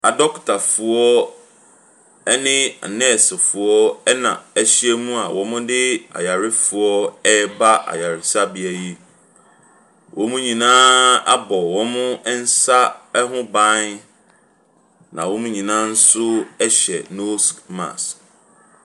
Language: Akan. Adɔkotafoɔ ne anɛɛsefoɔ na ahyiam a wɔde ayarefoɔ reba ayaresabea yi. Wɔn nyinaa abɔ wɔn nsa ho ban, na wɔn nyinaa nso hyɛ nose mask.